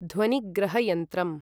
ध्वनिग्रहयन्त्रम्